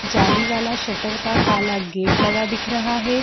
जाली वाला सटर का काला गेट लगा दिख रहा है।